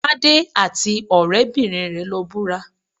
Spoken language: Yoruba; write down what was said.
Tádé àti ọ̀rẹ́-bìnrin rẹ̀ lọ búra